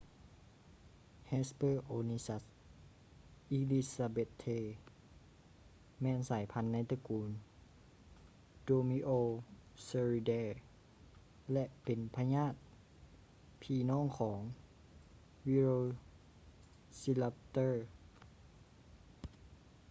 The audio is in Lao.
hesperonychus elizabethae ແມ່ນສາຍພັນໃນຕະກູນ dromaeosauridae ແລະ ເປັນຍາດພີ່ນ້ອງຂອງ velociraptor